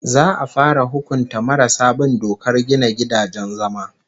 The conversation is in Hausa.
Za'a fara hukunta marasa bin dokar gina gidajen zama